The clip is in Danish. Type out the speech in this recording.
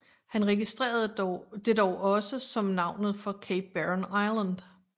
Han registrerede det dog også som navnet for Cape Barren Island